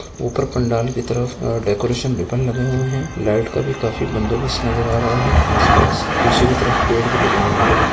ऊपर पंडाल के तरफ वहाँं डेकोरेशन रिबन लगे हुए है लाइट का भी काफी बंदोबस्त नज़र आ रहा है आस-पास पीछे की तरफ पेड़ भी लगे हुए हैं।